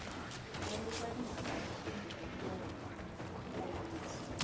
kombisa timhaka timbirhi to kombisa